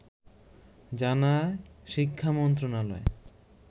জানায় শিক্ষা মন্ত্রণালয়